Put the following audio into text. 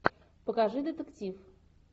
покажи детектив